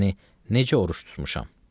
Yəni necə oruc tutmuşam?